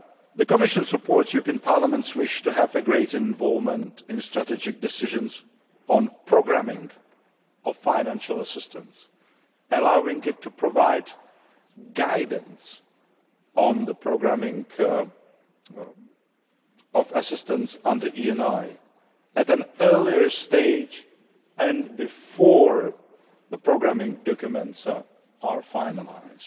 The Commission supports Parliament's wish to have greater involvement in strategic decisions on the programming of financial assistance, allowing it to provide guidance on programming assistance under the ENI at an earlier stage and before the programming documents are finalised.